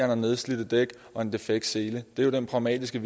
har nedslidte dæk og en defekt sele det er jo den pragmatiske